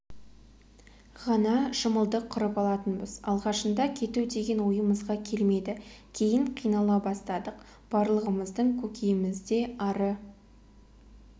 ғана шымылдық құрып алатынбыз алғашында кету деген ойымызға келмеді кейін қинала бастадық барлығымыздың көкейімізде ары